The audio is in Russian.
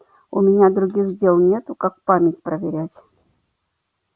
у меня других дел нету как память проверять